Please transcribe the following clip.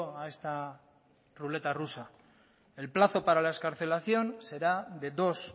a esta ruleta rusa el plazo para la excarcelación será de dos